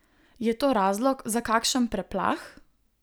Je to razlog za kakšen preplah?